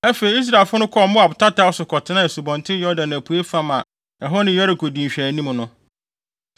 Afei, Israelfo no kɔɔ Moab tataw so kɔtenaa Asubɔnten Yordan apuei fam a ɛhɔ ne Yeriko di nhwɛanim no.